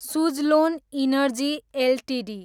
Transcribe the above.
Suzlon energy Ltd